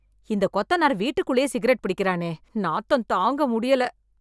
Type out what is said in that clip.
இந்த கொத்தனார் வீட்டுக்குள்ளயே சிகரெட் பிடிக்கறானே... நாத்தம் தாங்க முடியல...